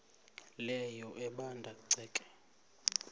leyo ebanda ceke